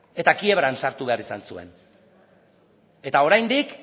eta kiebran sartu behar izan zuen eta oraindik